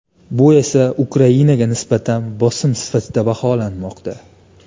Bu esa Ukrainaga nisbatan bosim sifatida baholanmoqda.